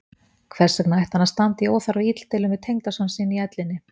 Hvers vegna ætti hann að standa í óþarfa illdeilum við tengdason sinn í ellinni?